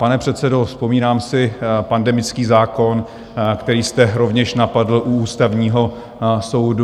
Pane předsedo, vzpomínám si, pandemický zákon, který jste rovněž napadl u Ústavního soudu.